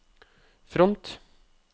front